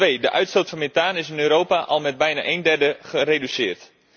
Twee de uitstoot van methaan is in Europa al met bijna een derde gereduceerd.